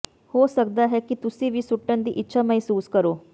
ਹੋ ਸਕਦਾ ਹੈ ਕਿ ਤੁਸੀਂ ਵੀ ਸੁੱਟਣ ਦੀ ਇੱਛਾ ਮਹਿਸੂਸ ਕਰੋ